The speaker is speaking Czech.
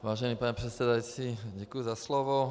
Vážený pane předsedající, děkuji za slovo.